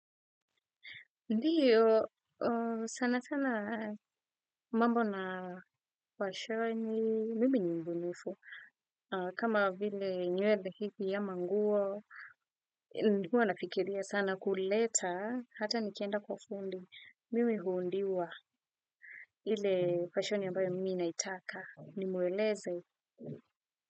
Ndiyo sana sana mambo na fashoni mimi ni mbunifu kama vile nywedhe hiki ama nguo. Ndiyo wanafikiria sana kuleta hata nikienda kwa fundi mimi huundiwa ile fashoni ambayo mimi naitaka nimueleze.